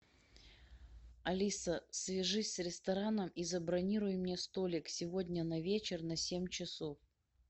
алиса свяжись с рестораном и забронируй мне столик сегодня на вечер на семь часов